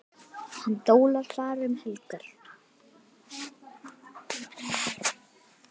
Hann dólar bara um helgar.